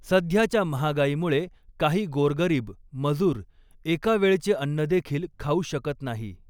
सध्याच्या महागाईमुळे काही गोरगरीब, मजूर एका वेळचे अन्न देखील खाऊ शकत नाही.